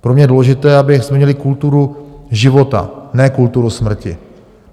Pro mě je důležité, abychom měli kulturu života, ne kulturu smrti.